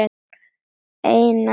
Einar er nú látinn.